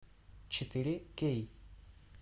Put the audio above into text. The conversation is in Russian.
четыре кей